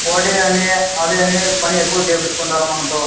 ఓ T లని అదని పని ఎక్కువ చేపించుకొంటారు మనతో --